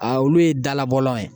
A olu ye dalabɔlaw ye.